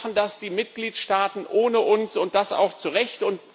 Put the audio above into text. Sonst machen das die Mitgliedstaaten ohne uns, und das auch zu Recht.